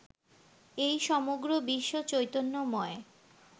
এই সমগ্র বিশ্ব চৈতন্যময়